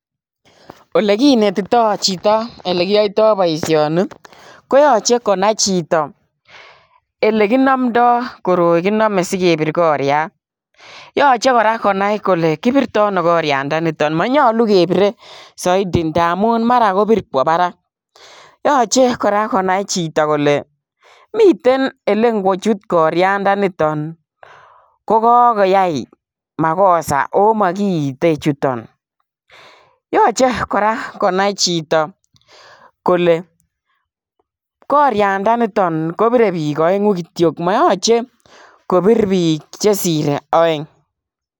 Oleginetito chito olegiyoito boisioni ko yoche konai chito eleginomdoi koroi kiname sigepir koriat. Yoche kora konai kole kipirto ano koriandanito. Manyalu kepire saiti ndamun mara kopir kwo barak. Yoche kora konai chito miten olengochut koraindaniton, kogoyai magosa oo magiite chuton. Yoche kora konai chito kole koriandaniton kopire biik aengu kityo, mayache kopir biik chesire aeng.